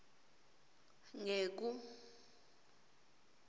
ngeku